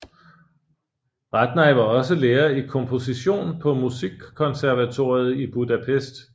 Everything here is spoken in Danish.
Radnai var også lærer i komposition på Musikkonservatoriet i Budapest